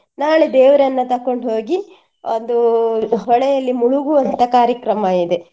ನಾಳೆ ದೇವರನ್ನ ತಕೊಂಡು ಹೋಗಿ ಒಂದು ಹೊಳೆಯಲ್ಲಿ ಮುಳುಗುವಂತ ಕಾರ್ಯಕ್ರಮ ಇದೆ.